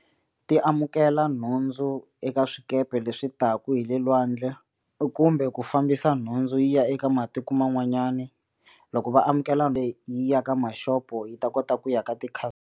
Ti amukela nhundzu eka swikepe leswi taku hi le lwandle kumbe ku fambisa nhundzu yi ya eka matiko man'wanyana loko va amukela leyi ya ka mashopo yi ta kota ku ya ka ti .